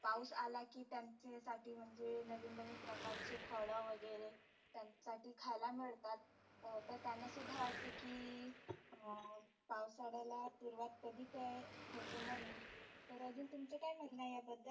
पाऊस आला की त्यांचे साठी म्हणजे नविन नविन प्रकारचे फळ वगैरे त्याच्या साठी खायला मिळतात. अं त्यांना सुद्धा वाटतं की अं पावसाळ्याला सुरुवात कधी ते होती म्हणुन. तर अजुन तुमच काय म्हणनं आहे याबद्दल?